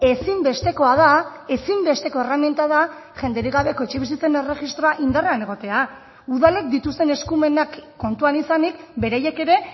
ezinbestekoa da ezinbesteko erreminta da jenderik gabeko etxebizitzen erregistroa indarrean egotea udalek dituzten eskumenak kontuan izanik beraiek ere